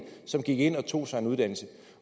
som gik ind og tog sig en uddannelse